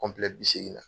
bi seegin na